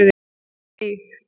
Og við eig